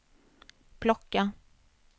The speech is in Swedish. plocka